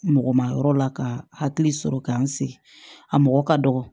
Mɔgɔ ma yɔrɔ la ka hakili sɔrɔ k'an sigi a mɔgɔ ka dɔgɔ